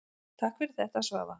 Takk fyrir þetta Svava.